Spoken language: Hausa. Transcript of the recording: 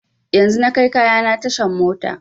Yanzun na kai kayana tashan mota